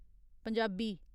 Punjabi